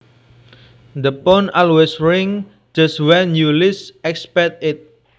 The phone always rings just when you least expect it